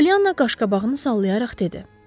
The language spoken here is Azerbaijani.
Pollyana qaşqabağını sallayaraq dedi: